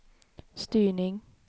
styrning